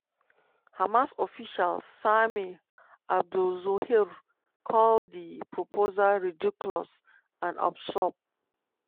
hamas official sami abu zuhri call di proposal "ridiculous" and "absurd".